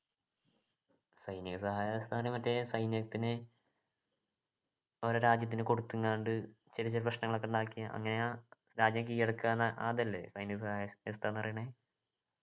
സൈനിക സഹായ വ്യവസ്ഥ എന്ന് പറയുന്നത് മറ്റ് സൈന്യത്തിന് ഓരോ രാജ്യത്തിന് കൊടുക്കുന്നാണ്ട് ചെറിയ ചെറിയ പ്രശ്നങ്ങളൊക്കെ ഉണ്ടാക്കി അങ്ങനെ രാജ്യം കീഴടക്കാ അതല്ലേ സൈനിക സഹായക വ്യവസ്ഥ ന്നു പറയണ്‌